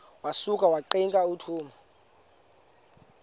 wasuka ungqika wathuma